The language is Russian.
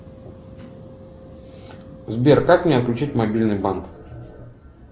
сбер как мне отключить мобильный банк